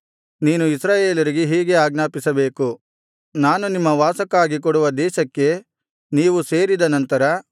ನೀನು ಇಸ್ರಾಯೇಲರಿಗೆ ಹೀಗೆ ಆಜ್ಞಾಪಿಸಬೇಕು ನಾನು ನಿಮ್ಮ ವಾಸಕ್ಕಾಗಿ ಕೊಡುವ ದೇಶಕ್ಕೆ ನೀವು ಸೇರಿದ ನಂತರ